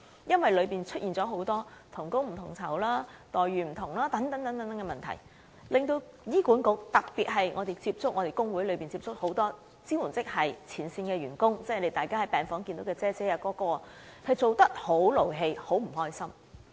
由於當中出現很多同工不同酬，待遇不同等問題，特別是我們透過工會接觸到很多支援職系的前線員工，就是大家在病房見到的"姐姐"或"哥哥"，他們工作時十分生氣，很不開心。